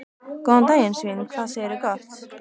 Góðan daginn svín, hvað segirðu gott?